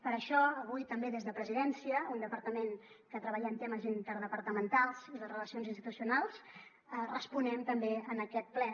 per això avui també des de presidència un departament que treballem temes interdepartamentals i les relacions institucionals responem també en aquest ple